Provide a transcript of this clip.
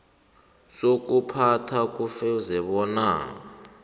sokuphatha kufuze bona